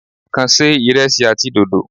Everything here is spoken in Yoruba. Kàn ṣe ìresí àti dòdò.